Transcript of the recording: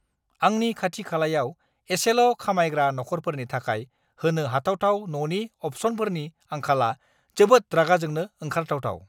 आंनि खाथि-खालायाव एसेल' खामायग्रा नखरफोरनि थाखाय होनो हाथावथाव न'नि अप्शनफोरनि आंखाला जोबोद रागा जोंनो ओंखारथावथाव!